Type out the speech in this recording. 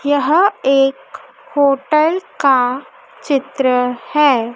यह एक होटल का चित्र है।